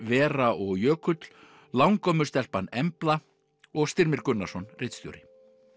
Vera og Jökull langömmustelpan Embla og Styrmir Gunnarsson ritstjóri